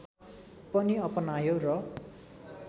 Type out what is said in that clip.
पनि अपनायो र